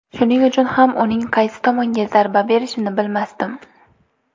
Shuning uchun ham uning qaysi tomonga zarba berishini bilmasdim.